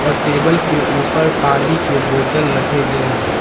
Table के ऊपर पानी के बोतल रखे गए हैं।